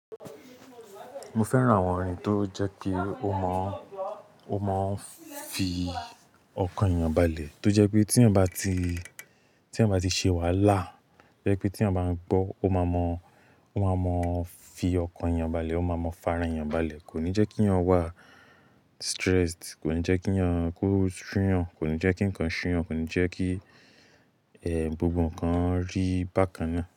Mo fẹ́ràn àwọn orin tó jẹ́ pé ó mọ̀, ó máa ń fi ọkàn èèyàn balẹ̀. Tó jẹ́ pé tí èèyàn bá ti, tí èèyàn bá ti ṣe wà lá, to jẹ́ pé tí èèyàn bá ń gbọ́, ó máa mọ, ó máa mọ fi ọkàn èèyàn balẹ̀, ó máa mọ fara èèyàn balẹ̀. Kò ní jẹ́ kí èèyàn wà stressed, kò ní jẹ́ kí èèyàn kú ṣúyan, kò ní jẹ́ kí ǹkan ṣúyan, kò ní jẹ́ kí, ẹ, gbogbo ǹkan rí bákan náà.